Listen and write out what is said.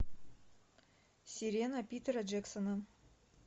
сирена питера джексона